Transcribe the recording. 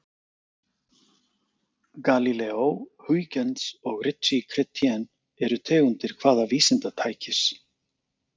Galíleó, Huygens og Ritchey-Chrétien eru tegundir hvaða vísindatækis?